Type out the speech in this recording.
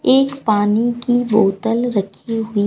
एक पानी की बोतल रखी हुई--